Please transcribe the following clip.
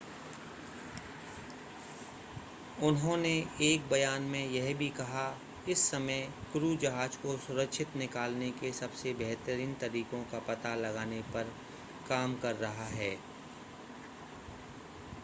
उन्होंने एक बयान में यह भी कहा इस समय क्रू जहाज़ को सुरक्षित निकालने के सबसे बेहतरीन तरीकों का पता लगाने पर काम कर रहा है